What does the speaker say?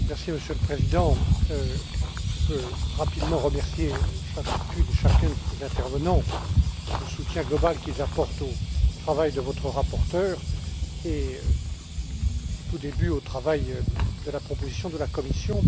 Monsieur le Président, je peux rapidement remercier chacune et chacun des intervenants du soutien global qu'ils apportent au travail de votre rapporteur et, au tout début, au travail de la proposition de la Commission.